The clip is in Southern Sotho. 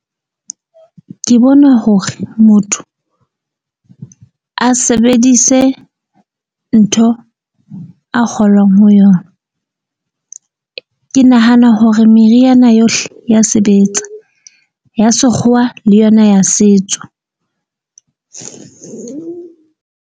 Ke bona hore motho a sebedise ntho a kgolwang ho yona. Ke nahana hore meriana yohle ya sebetsa ya sekgowa le yona ya setso.